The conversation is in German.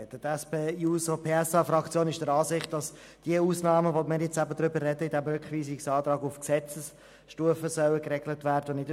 Die SP-JUSO-PSA-Fraktion ist der Ansicht, dass die Ausnahmen, über die wir in diesem Rückweisungsantrag sprechen, auf Gesetzesstufe und nicht auf Verordnungsstufe geregelt werden sollen.